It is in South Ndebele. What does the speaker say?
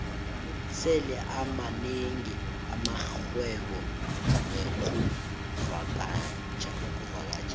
sele amanengi amarhwebo wexkuvakatjha